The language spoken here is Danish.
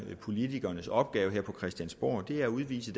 politikernes opgave her på christiansborg er at udvise